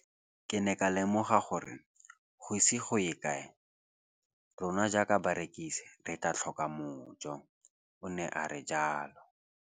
Ke ne ka lemoga gore go ise go ye kae rona jaaka barekise re tla tlhoka mojo, o ne a re jalo.